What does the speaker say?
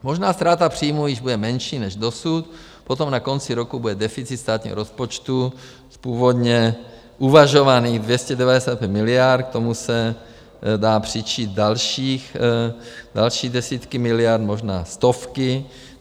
Možná ztráta příjmů již bude menší než dosud, potom na konci roku bude deficit státního rozpočtu z původně uvažovaných 295 miliard, k tomu se dají přičíst další desítky miliard, možná stovky.